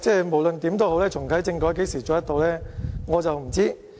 無論如何，重啟政改何時可以做到，我不知道。